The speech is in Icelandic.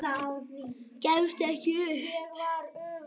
Gefstu ekki upp.